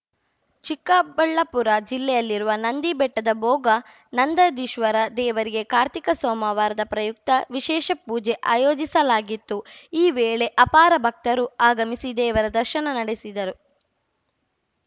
ಚಿಕ್ಕಬಳ್ಳಾಪುರ ಜಿಲ್ಲೆಯಲ್ಲಿರುವ ನಂದಿ ಬೆಟ್ಟದ ಬೋಗ ನಂದದೀಶ್ವರ ದೇವರಿಗೆ ಕಾರ್ತಿಕ ಸೋಮವಾರದ ಪ್ರಯುಕ್ತ ವಿಶೇಷ ಪೂಜೆ ಆಯೋಜಿಸಲಾಗಿತ್ತು ಈ ವೇಳೆ ಅಪಾರ ಭಕ್ತರು ಆಗಮಿಸಿ ದೇವರ ದರ್ಶನ ನಡೆಸಿದರು